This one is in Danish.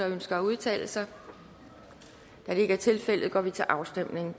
ønsker at udtale sig da det ikke er tilfældet går vi til afstemning